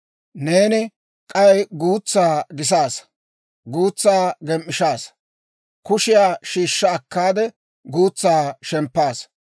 Neeni k'aykka guutsaa gisaassa; guutsaa gem"ishshaassa; kushiyaa shiishsha akkaade, guutsaa shemppaasa.